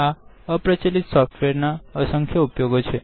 આ અપ્રચલિત સોફ્ટવેરના ઘણા ઉપયોગો છે